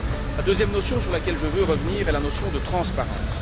La deuxième notion sur laquelle je veux revenir est la notion de transparence.